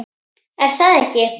er það ekki?